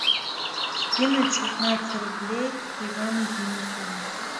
скинуть шестнадцать рублей ивану денисову